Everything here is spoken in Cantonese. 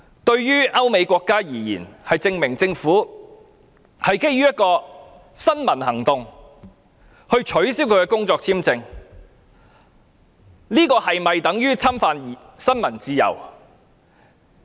對於歐美國家而言，政府基於一項新聞活動而取消他的工作簽證，這是否等於侵犯新聞自由？